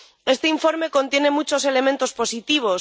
Este informe contiene muchos elementos positivos.